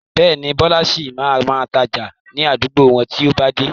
Bẹ́ẹ̀ni, Bọlá sì máa ma tája ni àdúgbò wọn to bá dé.